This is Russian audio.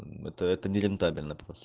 это это нерентабельно